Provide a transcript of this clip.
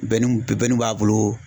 b'a bolo